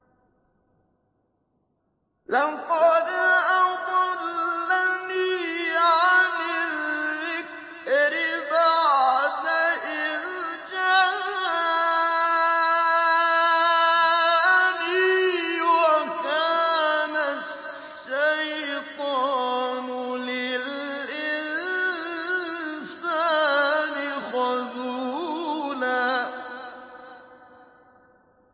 لَّقَدْ أَضَلَّنِي عَنِ الذِّكْرِ بَعْدَ إِذْ جَاءَنِي ۗ وَكَانَ الشَّيْطَانُ لِلْإِنسَانِ خَذُولًا